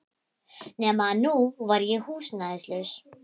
Nema að nú var ég húsnæðislaus.